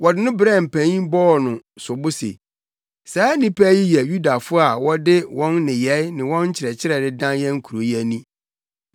Wɔde wɔn brɛɛ mpanyin bɔɔ wɔn sobo se, “Saa nnipa yi yɛ Yudafo a wɔde wɔn nneyɛe ne wɔn nkyerɛkyerɛ redan yɛn kurow yi ani.